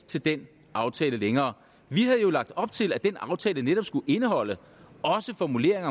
til den aftale længere vi havde jo lagt op til at den aftale netop også skulle indholde formuleringer